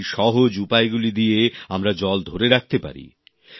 সেই সহজ উপায়গুলি দিয়ে আমরা জল ধরে রাখতে পারি